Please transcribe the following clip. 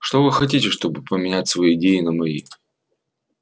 что вы хотите чтобы поменять свои идеи на мои